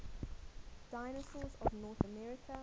dinosaurs of north america